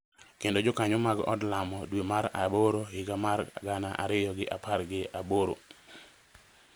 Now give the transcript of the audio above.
kendo Jokanyo mag Od Lamo dwe mar aboro higa mar gana ariyo gi apar gi aboro,